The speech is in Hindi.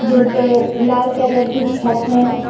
जिनपे लाल कलर की छत है।